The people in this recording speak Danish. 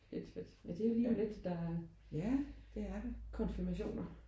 Fedt fedt. Ja det er jo lige om lidt der er konfirmationer